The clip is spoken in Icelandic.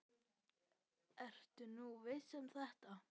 Ertu nú viss um þetta?